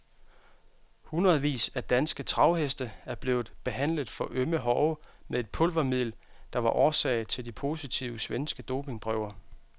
Hundredvis af danske travheste er blevet behandlet for ømme hove med et pulvermiddel, der var årsag til de positive svenske dopingprøver.